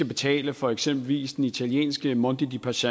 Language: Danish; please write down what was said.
betale for eksempelvis den italienske monde dei paschi